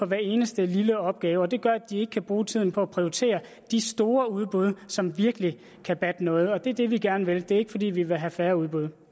hver eneste lille opgave det gør at de ikke kan bruge tiden på at prioritere de store udbud som virkelig kan batte noget det er det vi gerne vil det er ikke fordi vi vil have færre udbud